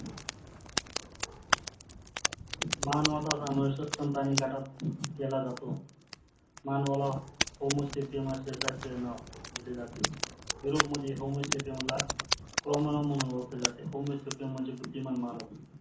मानवाचा समावेश प्राणी गटात केला जातो. मानवाला होमोसेपियन असे शास्त्रीय नाव दिले जाते. युरोप मध्य होमोसेपियन ला कॉमोलॉन म्हणून ओळखले जाते. होमोसेपियन म्हणजे बुद्धिमान मानव